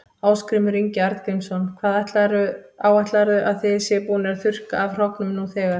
Ásgrímur Ingi Arngrímsson: Hvað áætlarðu að þið séuð búnir að þurrka af hrognum nú þegar?